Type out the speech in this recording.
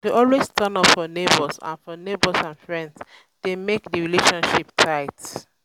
to de always turn up for neighbors and for neighbors and friends de make di relationship tight